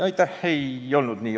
Aitäh!